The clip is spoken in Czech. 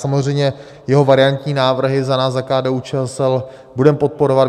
Samozřejmě jeho variantní návrhy za nás, za KDU-ČSL, budeme podporovat.